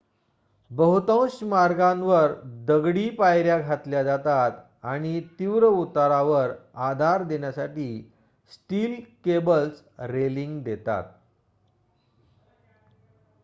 बहुतांश मार्गावर दगडी पायर्‍या घातल्या जातात आणि तीव्र उतारावर आधार देण्यासाठी स्टील केबल्स रेलिंग देतात